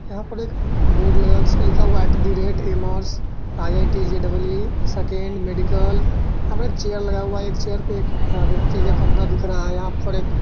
यहाँ पर एक बोर्ड लगा हुआ है जिसपे लिखा है at the rate aimers IIT JEE second medical | यहा पे एक चेयर लगा हुआ है| एक चैयर पे एक व्यक्ति का कंधा दिख रहा है| यहाँ पर एक--